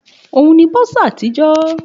Òun ni bursar àtijọ́